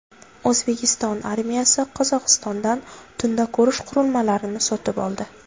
O‘zbekiston armiyasi Qozog‘istondan tunda ko‘rish qurilmalarini sotib oldi.